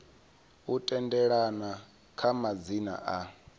u tendelana kha madzina a